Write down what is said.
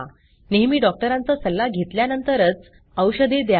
नेहमी डॉक्टरांचा सल्ला घेतल्यानंतरच औषधे द्या